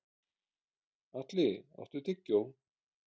Atli, áttu tyggjó?